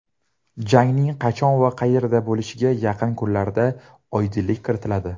Jangning qachon va qayerda bo‘lishiga yaqin kunlarda oydinlik kiritiladi.